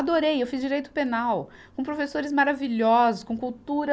Adorei, eu fiz direito penal, com professores maravilhosos, com cultura.